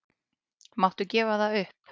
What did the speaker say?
Máttu gefa það upp?